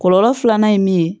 Kɔlɔlɔ filanan ye mun ye